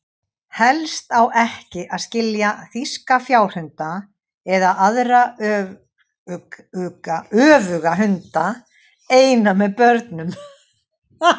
Helst á ekki að skilja þýska fjárhunda, eða aðra öfluga hunda, eina með börnum.